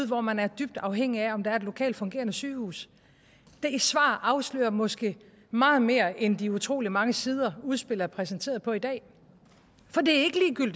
hvor man er dybt afhængig af om der er et lokalt fungerende sygehus det svar afslører måske meget mere end de utrolig mange sider udspillet er præsenteret på i dag for det